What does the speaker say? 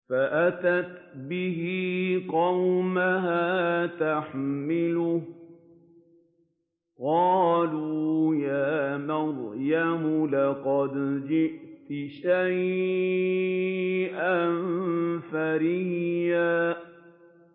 فَأَتَتْ بِهِ قَوْمَهَا تَحْمِلُهُ ۖ قَالُوا يَا مَرْيَمُ لَقَدْ جِئْتِ شَيْئًا فَرِيًّا